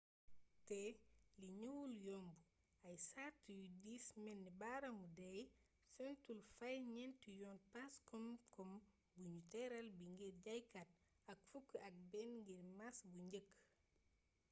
te lii ñëwul yomb ay sart yu dis melni baaraamu déy sentul fay ñeent yoon pass kom-kom buñu tëraal bi ngir jaaykat ak fukk ak benn ngir maas bu njëkk